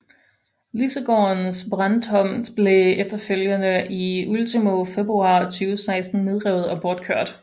Lisegårdens brandtomt blev efterfølgende i ultimo februar 2016 nedrevet og bortkørt